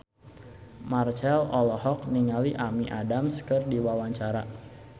Marchell olohok ningali Amy Adams keur diwawancara